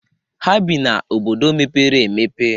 Ha bii na obodo mepere emepe.